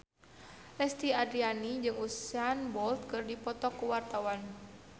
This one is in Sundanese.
Lesti Andryani jeung Usain Bolt keur dipoto ku wartawan